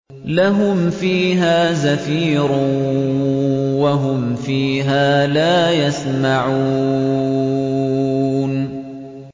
لَهُمْ فِيهَا زَفِيرٌ وَهُمْ فِيهَا لَا يَسْمَعُونَ